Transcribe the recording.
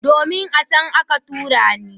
Domin, a can aka tura ni.